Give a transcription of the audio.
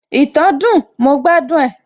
ìtàn dùn, mo gbádùn ẹ